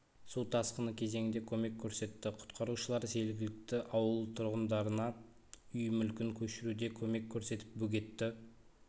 су тасқыны кезеңінде көмек көрсетті құтқарушылар жергілікті ауыл тұрғындарына үй мүлкін көшіруде көмек көрсетіп бөгетті